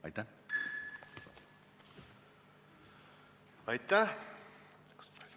Aitäh!